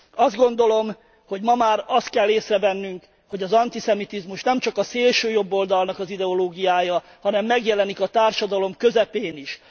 Azt gondolom, hogy ma már azt kell észrevennünk, hogy az antiszemitizmus nemcsak a szélsőjobboldalnak az ideológiája, hanem megjelenik a társadalom közepén is.